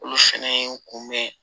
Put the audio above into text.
Olu fɛnɛ ye n kunbɛn